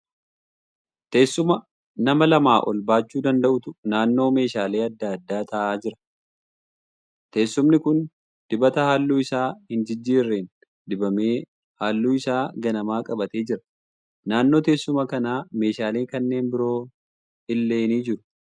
Teessuma nama lamaa ol baachuu danda'uutu naannoo meeshaalee adda addaa ta'aa jira. Teessumni kun dibata halluu isaa hin jijjiirreen dibamee halluu isaa ganamaa qabatee jira. Naannoo teessuma kanaa meeshaalee kanneen biroon illee jiru.